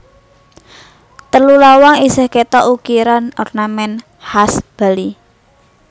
Telu lawang isih kétok ukiran ornamèn khas Bali